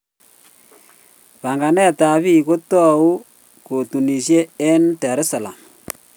Panganet ab bik kotoi katunishe eng Da es salaam.